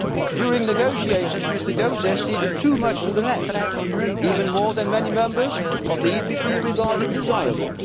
During negotiations Mr Gauzès ceded too much to the left, more than many Members of the PPE regarded desirable.